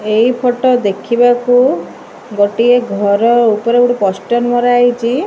ଏଇ ଫଟୋ ଦେଖିବାକୁ ଗୋଟିଏ ଘର ଉପରେ ଗୋଟେ ପୋଷ୍ଟର ମରା ହେଇଚି --